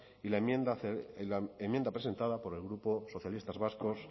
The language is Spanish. y la enmienda presentada por los grupos socialistas vascos